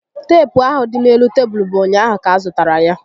Teepu ahụ dị n'elu tebulu bụ ụnyaahụ ka a zụtara ya